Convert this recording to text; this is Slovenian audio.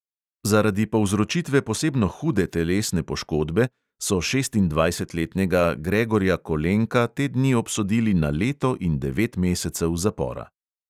Zaradi povzročitve posebno hude telesne poškodbe so šestindvajsetletnega gregorja kolenka te dni obsodili na leto in devet mesecev zapora.